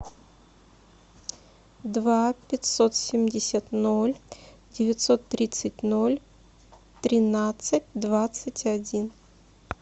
два пятьсот семьдесят ноль девятьсот тридцать ноль тринадцать двадцать один